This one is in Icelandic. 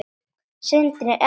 Sindri: Er það ekki?